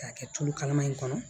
K'a kɛ tulu kalaman in kɔnɔ